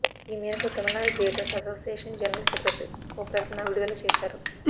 ఈమేరకు Tamil Nadu theatres association general secretary ఓ ప్రకటన విడుదల చేశారు